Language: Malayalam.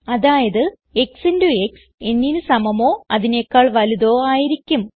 അതായത് x ഇന്റോ ക്സ് nന് സമമോ അതിനെക്കാൾ വലുതോ ആയിരിക്കും